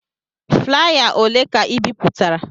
Flaya ole ka ị bipụtara?